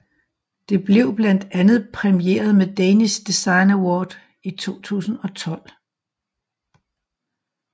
Det blev blandt andet præmieret med Danish Design Award i 2012